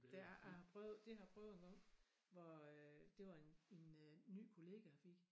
Det har jeg har prøvet det har jeg prøvet engang hvor øh det var en en øh ny kollega jeg fik